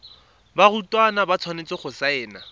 barutwana ba tshwanetse go saena